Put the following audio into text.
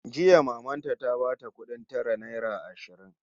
Jiya maman ta ta bata kudin tara naira ashirin